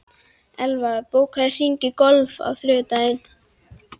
Elvar, bókaðu hring í golf á þriðjudaginn.